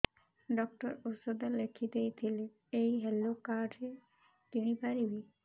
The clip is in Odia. ଡକ୍ଟର ଔଷଧ ଲେଖିଦେଇଥିଲେ ଏଇ ହେଲ୍ଥ କାର୍ଡ ରେ କିଣିପାରିବି